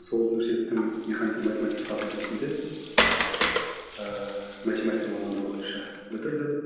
сол университеттің механика математика факультетінде ыыы математика мамандығы бойынша бітірдім